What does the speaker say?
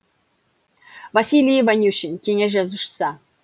василий ванюшин кеңес жазушысы